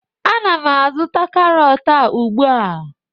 Agam azụta karọt a ugbu.